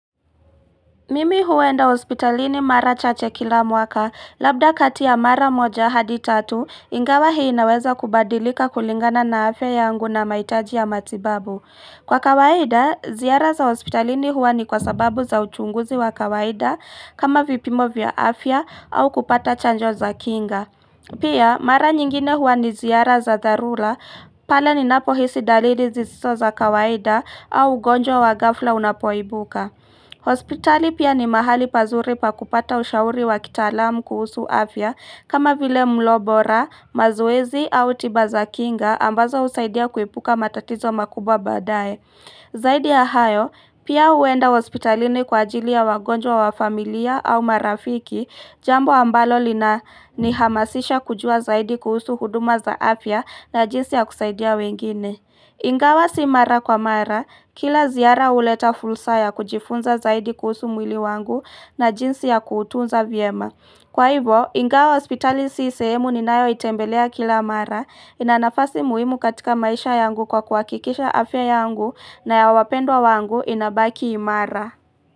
Mimi huenda hospitalini mara chache kila mwaka, labda kati ya mara moja hadi tatu, ingawa hii inaweza kubadilika kulingana na afya yangu na mahitaji ya matibabu. Kwa kawaida, ziara za hospitalini huwa ni kwa sababu za uchunguzi wa kawaida, kama vipimo vya afya, au kupata chanjo za kinga. Pia, mara nyingine huwa ni ziara za dharula, pale ni napo hisi dalili zisizoza kawaida, au ugonjwa wa ghafla unapoibuka. Hospitali pia ni mahali pazuri pa kupata ushauri wa kitaalam kuhusu afya kama vile mlobora, mazoezi au tibaza kinga ambazo husaidia kuepuka matatizo makubwa badaye Zaidi yahayo pia huenda hospitalini kwa ajili ya wagonjwa wa familia au marafiki Jambo ambalo lina ni hamasisha kujua zaidi kuhusu huduma za afya na jinsi ya kusaidia wengine kuuifunza zaidi kuhusu mwili wangu na jinsi ya kuutunza vyema. Kwa hivyo, ingawa hospitali si sehemu ni nayo itembelea kila mara, inanafasi muhimu katika maisha yangu kwa kuhakikisha afya yangu na ya wapendwa wangu inabaki imara.